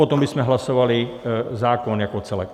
Potom bychom hlasovali zákon jako celek.